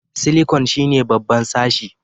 Silikon shine babban sashi